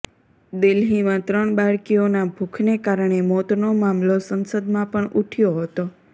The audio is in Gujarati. દિલ્હીમાં ત્રણ બાળકીઓના ભૂખને કારણે મોતનો મામલો સંસદમાં પણ ઉઠયો હતો